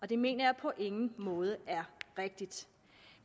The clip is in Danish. det mener jeg på ingen måde er rigtigt